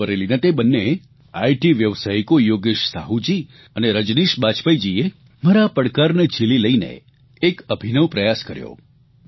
રાયબરેલીના તે બંનેએ આઇટી વ્યવસાયિકો યોગેશ સાહુજી અને રજનીશ બાજપેયીજીએ મારા આ પડકારને ઝીલી લઇને એક અભિનવ પ્રયાસ કર્યો